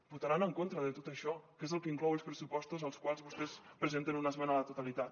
votaran en contra de tot això que és el que inclouen els pressupostos als quals vostès presenten una esmena a la totalitat